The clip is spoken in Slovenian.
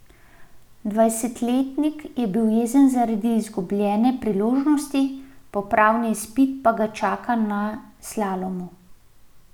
Dvajsetletnik je bil jezen zaradi izgubljene priložnosti, popravni izpit pa ga čaka na slalomu.